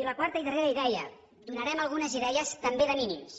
i la quarta i darrera idea donarem algunes idees també de mínims